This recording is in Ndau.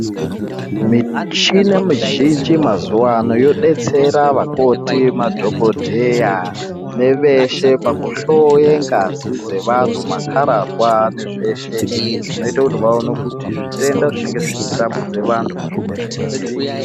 Mishina mizhinji mazuva ano yobetsera vakoti, madhogodheya neveshe pakuhoye ngazi dzevantu makararwa nezveshe zvinoita kuti vaone kuti zvitenda zvinenge zvichitambudza vantu muzvibhedhlera zvii.